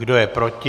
Kdo je proti?